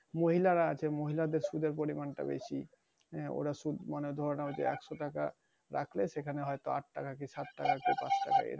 মহিলার আছে মহিলাদের সুদের পরিমাণ টা বেশি। ওরা সুদ মানে মোটা অঙ্কে আটশো টাকা রাখলে সেখানে হয়তো আটটাকা কি সাতটাকা কি পাঁচটাকা এরাম।